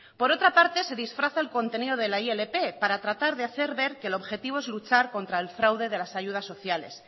por otra parte se disfraza el contenido de la ilp para tratar de hacer ver que el objetivo es luchar contra el fraude de las ayudas sociales